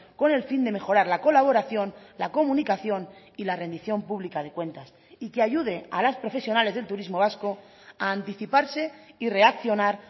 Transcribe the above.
con el fin de mejorar la colaboración la comunicación y la rendición pública de cuentas y que ayude a las profesionales del turismo vasco a anticiparse y reaccionar